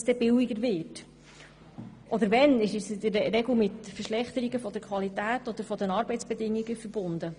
Wenn es billiger wird, ist dies in der Regel mit einer Verschlechterung der Qualität oder der Arbeitsbedingungen verbunden.